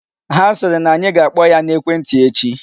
Ha sịrị na anyị ga-akpọ ya n'ekwentị echi.